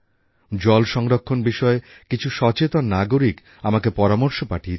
জলসংরক্ষণ বিষয়ে কিছু সচেতন নাগরিক আমাকে পরামর্শ পাঠিয়েছেন